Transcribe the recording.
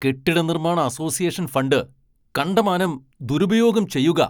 കെട്ടിടനിർമ്മാണ association fund കണ്ടമാനം ദുരുപയോഗം ചെയ്യുകാ.